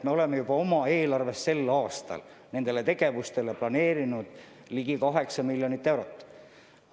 Me oleme juba oma eelarvest selleks aastaks nendele tegevustele planeerinud ligi 8 miljonit eurot.